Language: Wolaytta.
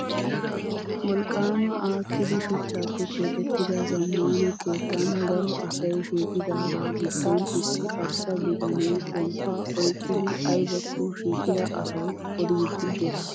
Wolqqaama aakkidi shuchchaappe keexettida zammaana keettan garo asayi shiiqidaagaa giddon issi arssa bitanee pomppaa oyikkidi ayibakko shiiqida asawu odiidi des.